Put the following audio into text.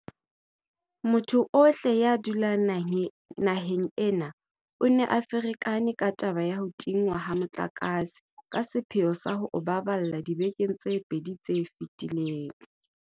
Motho ohle ya dulang naheng ena o ne a ferekane ke taba ya ho tingwa ha motlakase ka sepheo sa ho o baballa dibekeng tse pedi tse fetileng.